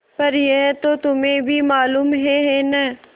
पर यह तो तुम्हें भी मालूम है है न